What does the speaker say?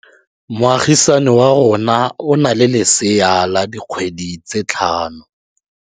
Moagisane wa rona o na le lesea la dikgwedi tse tlhano.